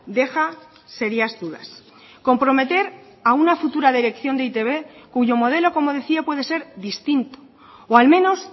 deja serias dudas comprometer a una futura dirección de e i te be cuyo modelo como decía puede ser distinto o al menos